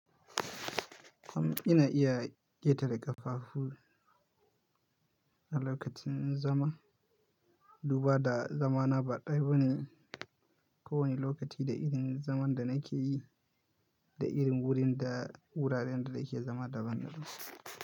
Kam ina iya ƙetare ƙafafu na lokacin zama. Duba da zamana ba ɗaya bane, ko wane lokaci da irin zaman da nake yi da irin wurin da wuraren da nake zama daban daban.